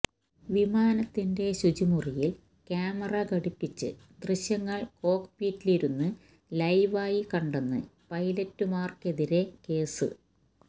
വിമാനത്തിന്റെ ശുചിമുറിയില് ക്യാമറ ഘടിപ്പിച്ച് ദൃശ്യങ്ങള് കോക്പിറ്റിലിരുന്ന് ലൈവായി കണ്ടെന് പൈലറ്റുമാര്ക്കെതിരെ കേസ്